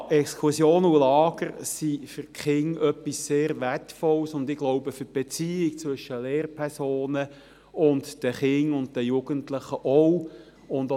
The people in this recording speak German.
Ja, Exkursionen und Lager sind für Kinder etwas sehr Wertvolles, auch, wie ich glaube, für die Beziehung zwischen Lehrpersonen und den Kindern und Jugendlichen.